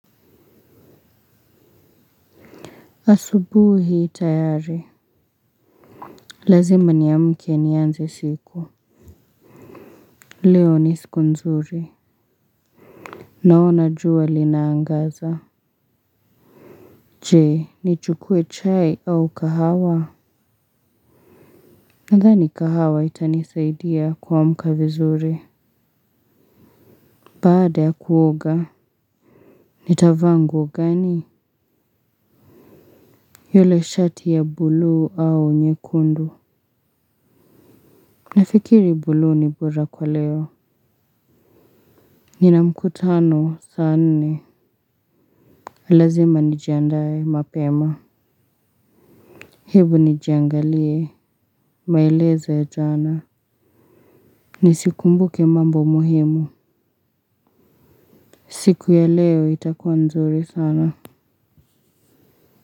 Asubuhi tayari. Lazima niamke nianze siku. Leo ni siku nzuri. Naona jua linaangaza. Je, nichukue chai au kahawa? Nadhani kahawa itanisaidia kuamka vizuri. Baada ya kuoga, nitavaa nguo gani? Yule shati ya bulu au nyekundu. Nafikiri bulu ni bora kwa leo. Nina mkutano saa nne, lazima nijiandae mapema hebu nijiangalie maelezo ya jana nisikumbuke mambo muhimu. Siku ya leo itakuwa nzuri sana.